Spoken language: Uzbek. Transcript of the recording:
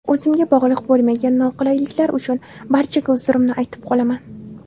O‘zimga bog‘liq bo‘lmagan noqulayliklar uchun barchaga uzrimni aytib qolaman.